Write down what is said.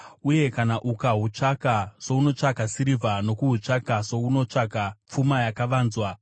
uye kana ukahutsvaka sounotsvaka sirivha nokuhutsvaka sounotsvaka pfuma yakavanzwa,